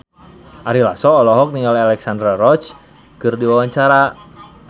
Ari Lasso olohok ningali Alexandra Roach keur diwawancara